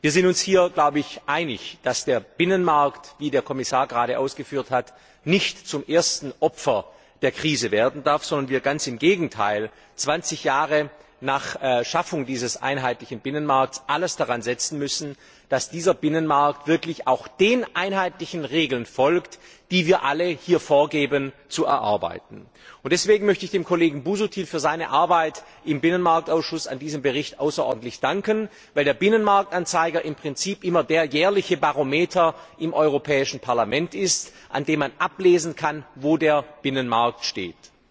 Wir sind uns hier, glaube ich, einig, dass der Binnenmarkt, wie der Kommissar gerade ausgeführt hat, nicht zum ersten Opfer der Krise werden darf, sondern wir ganz im Gegenteil zwanzig Jahre nach Schaffung dieses einheitlichen Binnenmarkts alles daran setzen müssen, dass dieser Binnenmarkt wirklich auch den einheitlichen Regeln folgt, die wir alle hier vorgeben zu erarbeiten. Deswegen möchte ich dem Kollegen Busuttil für seine Arbeit an diesem Bericht im Ausschuss für Binnenmarkt außerordentlich danken, weil der Binnenmarktanzeiger im Prinzip immer der jährliche Barometer im Europäischen Parlament ist, an dem man ablesen kann, wo der Binnenmarkt steht.